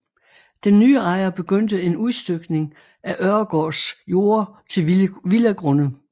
Den nye ejer begyndte en udstykning af Øregaards jorder til villagrunde